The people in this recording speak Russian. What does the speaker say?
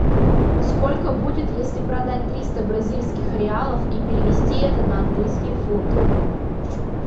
сколько будет если продать триста бразильских реалов и перевести это на английские фунты